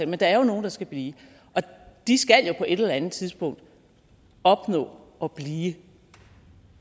men der er nogle der skal blive og de skal jo på et eller andet tidspunkt opnå at blive